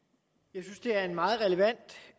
jo